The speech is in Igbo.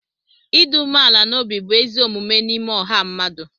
ịdị umeala n'obi bụ ezi omume n'ime ọha mmadụ